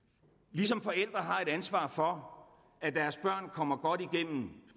ligesom forældre har et ansvar for at deres børn kommer godt igennem